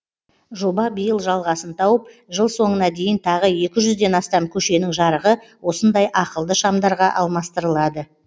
жоба биыл жалғасын тауып жыл соңына дейін тағы екі жүзден астам көшенің жарығы осындай ақылды шамдарға алмастырылады